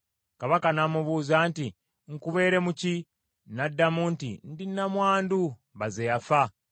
Kabaka n’amubuuza nti, “Nkubeere mu ki?” N’addamu nti, “Ndi nnamwandu baze yafa.